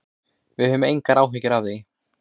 Við höfum engar áhyggjur af því.